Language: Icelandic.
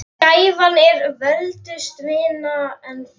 Gæfan er völtust vina, en náð